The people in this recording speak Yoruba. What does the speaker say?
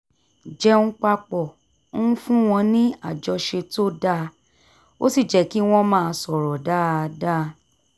jẹun papọ̀ ń fún wọn ní àjọṣe tó dáa ó sì jẹ́ kí wọ́n máa sọ̀rọ̀ dáadáa